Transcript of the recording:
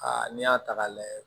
Aa n'i y'a ta k'a lajɛ